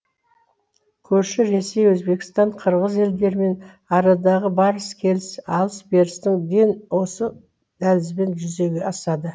көрші ресей өзбекстан қырғыз елдерімен арадағы барыс келіс алыс берістің ден осы дәлізбен жүзеге асады